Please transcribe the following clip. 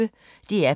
DR P1